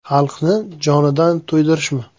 Xalqni jonidan to‘ydirishmi?